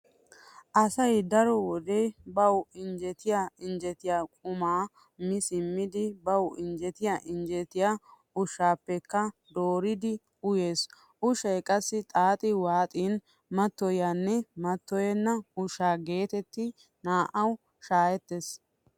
Asay daro wode bawu injjetiya injjetiya qumaa mi simmidi bawu injjetiya injjetiya ushshaappekka dooridi uyees. Ushshay qassi xaaxi waaxin mattoyiyanne mattoyenna ushsha geetettidi naa"awu shaakettees.